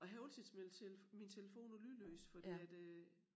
Og jeg har altid min min telefon på lydløs fordi at øh